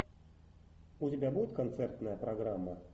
у тебя будет концертная программа